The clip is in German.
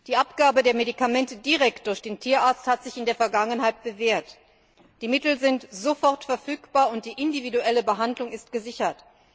Die Abgabe der Medikamente direkt durch den Tierarzt hat sich in der Vergangenheit bewährt. Die Mittel sind sofort verfügbar, und die individuelle Behandlung ist gesichert.